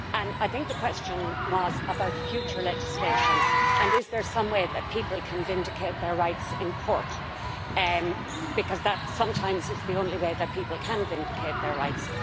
I think the question was about future legislation and whether there is some way that people can vindicate their rights in court, because that is sometimes the only way that people can vindicate their rights.